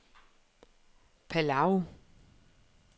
Palau